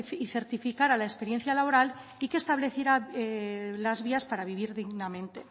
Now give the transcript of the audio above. y certificara la experiencia laboral y que estableciera las vías para vivir dignamente